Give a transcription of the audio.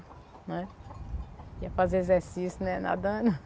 né. Ia fazer exercício, né, nadando.